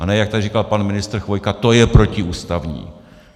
A ne, jak tady říkal pan ministr Chvojka: To je protiústavní.